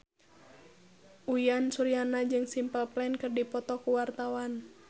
Uyan Suryana jeung Simple Plan keur dipoto ku wartawan